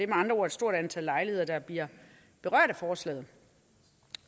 med andre ord et stort antal lejligheder der bliver berørt af forslaget